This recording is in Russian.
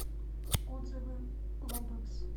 отзывы глобэкс